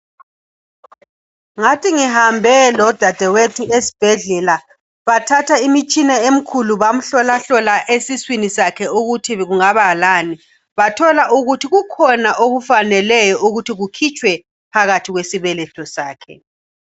Ngathi ngihambe lodadewethu esibhedlela. Bathatha imitshina emikhulu, bamhlolahlola esiswini sakhe, ukuthi kungaba lani. Bathola ukuthi kukhona okufaneleyo ukuthi kukhitshwe phakathi kwesibeletho sakhe.